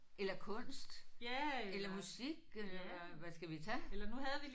Eller kunst eller musik eller hvad skal vi tage?